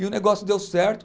E o negócio deu certo.